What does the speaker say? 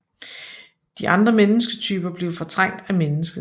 De andre mennesketyper blev fortrængt af mennesket